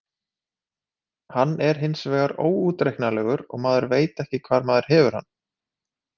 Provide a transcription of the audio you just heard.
Hann er hinsvegar óútreiknanlegur og maður veit ekki hvar maður hefur hann.